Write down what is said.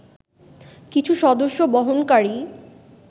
কিছু সদস্য বহনকারী